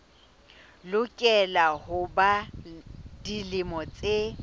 lokela ho ba dilemo tse